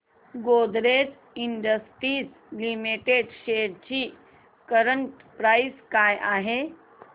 Godrej industries limited shares ची current price काय आहे